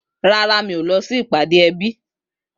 Rárá, mi o lọsi ìpáde ẹbi.